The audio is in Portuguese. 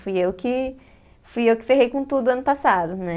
Fui eu que, fui eu que ferrei com tudo ano passado, né?